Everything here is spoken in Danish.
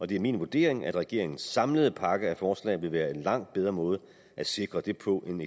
det er min vurdering at regeringens samlede pakke af forslag vil være en langt bedre måde at sikre det på end